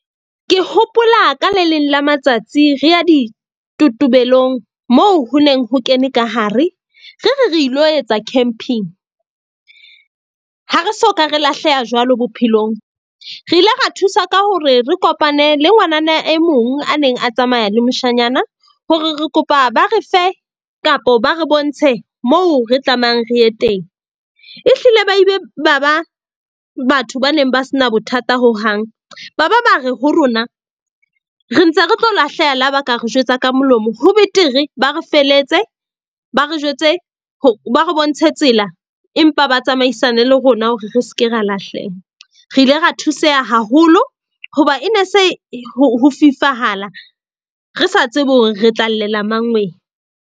Ke hopola ka le leng la matsatsi re ya ditotobelong moo ho neng ho kene ka hare. Re re re ilo etsa camping. Ha re soka re lahleha jwalo bophelong. Re ile ra thusa ka hore re kopane le ngwanana e mong a neng a tsamaya le moshanyana, hore re kopa ba re fe kapo ba re bontshe mo re tlamehang re ye teng. Ehlile ba ebe ba ba batho ba neng ba se na bothata hohang, ba ba ba re ho rona re ntse re tlo lahleha la ba ka re jwetsa ka molomo, ho betere ba re feletse, ba re jwetse ba re bontshe tsela. Empa ba tsamaisane le rona hore re ske ra lahleha. Re ile ra thuseha haholo hoba e ne se ho fifahala, re sa tsebe hore re tla llela .